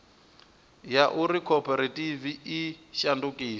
ya uri khophorethivi i shandukise